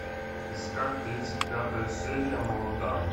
искать тридцать пятая серия молодая